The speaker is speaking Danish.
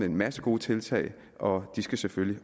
en masse gode tiltag og de skal selvfølgelig